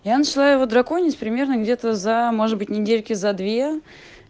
я начала его драконить примерно где то за может быть недели за две